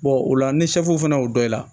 o la ni fana y'o dɔn i la